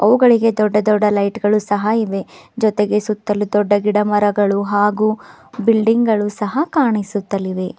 ಅವುಗಳಿಗೆ ದೊಡ್ಡ ದೊಡ್ಡ ಲೈಟ್ ಗಳು ಸಹ ಇವೆ ಜೊತೆಗೆ ಸುತ್ತಲೂ ದೊಡ್ಡ ಗಿಡ ಮರಗಳು ಹಾಗೂ ಬಿಲ್ಡಿಂಗ್ ಗಳು ಸಹ ಕಾಣಿಸುತ್ತಲಿವೆ.